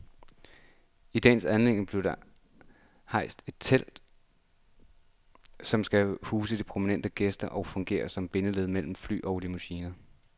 I dagens anledning bliver der rejst et telt, som skal huse de prominente gæster og fungere som bindeled mellem fly og limousiner.